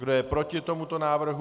Kdo je proti tomuto návrhu?